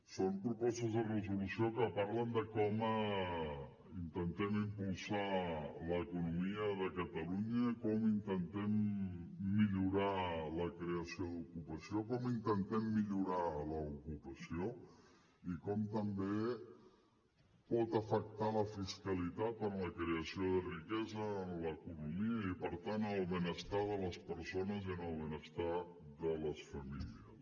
són propostes de resolució que parlen de com intentem impulsar l’economia de catalunya i com intentem millorar la creació d’ocupació com intentem millorar l’ocupació i com també pot afectar la fiscalitat en la creació de riquesa en l’economia i per tant en el benestar de les persones i en el benestar de les famílies